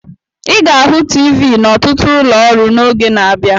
Ị ga-ahụ TV n'ọtụtụ ụlọ ọrụ n'oge na-abịa.